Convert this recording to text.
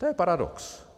To je paradox.